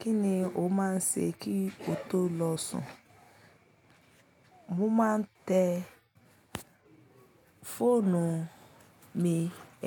Kí ni o máa ń ṣé kí o tó lọ sùn? Mo máa ń tẹ fóònù mi,